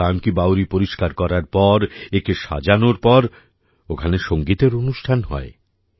সুলতান কি বাওড়ি পরিষ্কার করার পর একে সাজানোর পর ওখানে সঙ্গীতের অনুষ্ঠান হয়